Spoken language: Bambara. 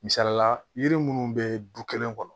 Misalila yiri munnu bɛ du kelen kɔnɔ